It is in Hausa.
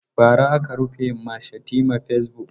Bara aka rufe ma Shatima fasebuk.